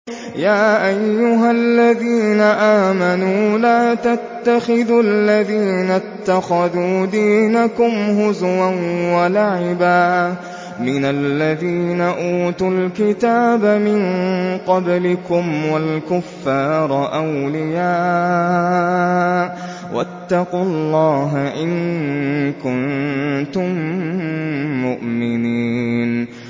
يَا أَيُّهَا الَّذِينَ آمَنُوا لَا تَتَّخِذُوا الَّذِينَ اتَّخَذُوا دِينَكُمْ هُزُوًا وَلَعِبًا مِّنَ الَّذِينَ أُوتُوا الْكِتَابَ مِن قَبْلِكُمْ وَالْكُفَّارَ أَوْلِيَاءَ ۚ وَاتَّقُوا اللَّهَ إِن كُنتُم مُّؤْمِنِينَ